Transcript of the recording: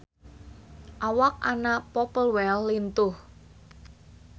Awak Anna Popplewell lintuh